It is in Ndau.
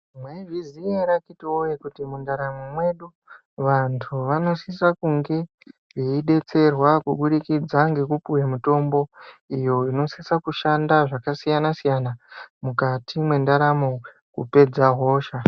Taizviziya ere akiti woye kuti mwu ndaramo mwedu vantu vanosisa kunge veibetserwa kubudikidza ngekupuwe mitombo iyo inosisa kushanda zvakasiyana siyana mukati mwendaramo kupedza hosha.